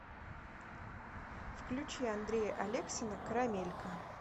включи андрея алексина карамелька